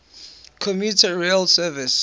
commuter rail service